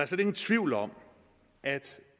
slet ingen tvivl om at